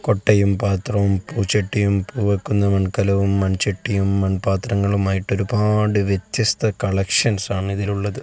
കൊട്ടയും പാത്രവും പൂച്ചട്ടിയും പൂവയ്ക്കുന്ന മൺകലവും മൺചട്ടിയും മൺപാത്രങ്ങളുമായിട്ട് ഒരുപാട് വ്യത്യസ്ത കളക്ഷൻസാണ് ഇതിൽ ഉള്ളത്.